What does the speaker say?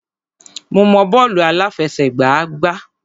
Mo mọ bọ́ọ̀lù àláfẹsẹ̀gbá gbá.